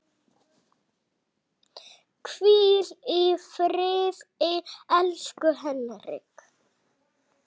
Hvíl í friði, elsku Henrik.